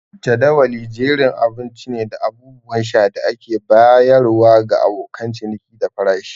Jadawali jerin abinci ne da abubuwan sha da ake bayarwa ga abokan ciniki da farashi.